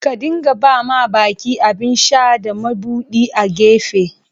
Ka dinga ba ma baki abin sha da mabudi a'gefe.